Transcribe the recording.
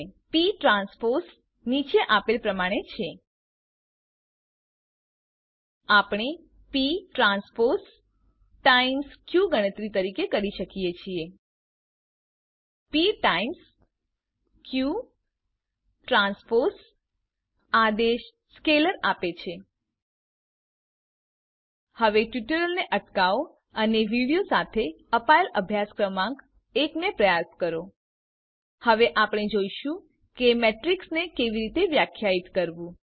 પ ટ્રાન્સપોઝ નીચે આપેલ પ્રમાણે છે આપણે p ટ્રાન્સપોઝ ટાઇમ્સ ક ગણતરી કરી શકીએ છીએ પ ટાઇમ્સ q ટ્રાન્સપોઝ આદેશ સ્કેલર આપે છે હવે ટ્યુટોરીયલને અટકાવો અને વિડીઓ સાથે અપાયેલ અભ્યાસ ક્રમાંક એકને પ્રયાસ કરો હવે આપણે જોઈશું કે મેટ્રીક્સને કેવી રીતે વ્યખ્યાયિત કરવું